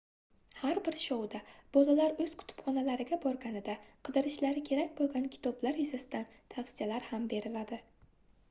har bir shouda bolalar oʻz kutubxonalariga borganida qidirishlari kerak boʻlgan kitoblar yuzasidan tavsiyalar ham beriladi